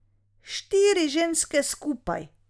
Štiri ženske skupaj ...